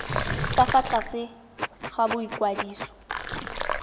ka fa tlase ga boikwadiso